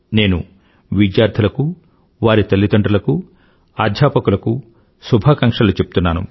నేను విద్యార్థులకు వారి తల్లిదండ్రులకు అధ్యాపకులకూ శుభాకాంక్షలు చెప్తున్నాను